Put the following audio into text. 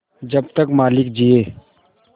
जब तक मालिक जिये